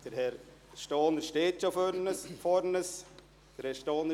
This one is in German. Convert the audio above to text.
Herr Stohner steht schon vor uns.